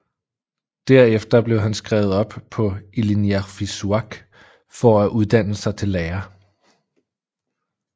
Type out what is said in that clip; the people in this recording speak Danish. Derefter blev han skrevet op på Ilinniarfissuaq for at uddanne sig til lærer